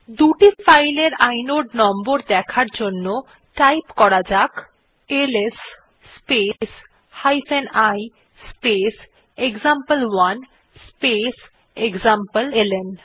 দুটি ফাইল এর inode number দেখার জন্য টাইপ করা যাক LS space i space example one space এক্সামপ্লেলন